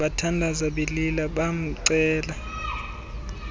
bathandaza belila bamcela